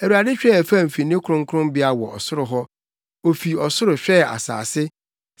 “ Awurade hwɛɛ fam fi ne kronkronbea wɔ ɔsoro hɔ; ofi ɔsoro hwɛɛ asase,